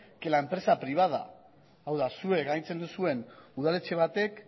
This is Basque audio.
que la empresa privada hau da zuek agintzen duzuen udaletxe batek